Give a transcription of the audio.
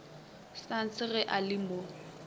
sons ge a le mo